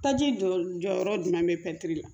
Taji jɔyɔrɔ jumɛn be ye